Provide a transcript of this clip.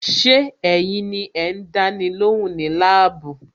Ṣé ẹ̀yin ni ẹ ń dáni lóhùn ní labuu?